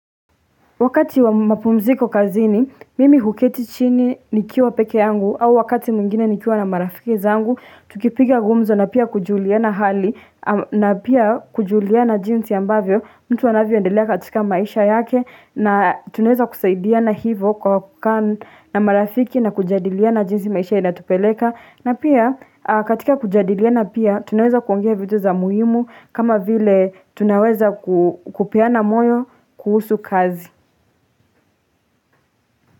Wakati wa mapumziko kazini, mimi huketi chini nikiwa peke yangu au wakati mwingine nikiwa na marafiki zangu, tukipiga ngumzo na pia kujuliana hali na pia kujuliana jinsi ambavyo mtu anavyo endelea katika maisha yake na tunaweza kusaidia na hivo kwa kukaa na marafiki na kujadiliana jinsi maisha inatupeleka na pia katika kujadiliana pia tunaweza kuongea vitu za muhimu kama vile tunaweza kupeana moyo kuhusu kazi.